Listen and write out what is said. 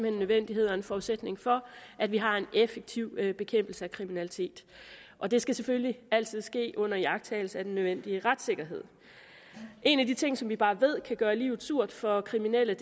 en nødvendighed og en forudsætning for at vi har en effektiv bekæmpelse af kriminalitet og det skal selvfølgelig altid ske under iagttagelse af den nødvendige retssikkerhed en af de ting som vi bare ved kan gøre livet surt for kriminelle